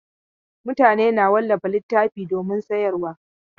Mutane na wallafa littattafai domin sayarwa.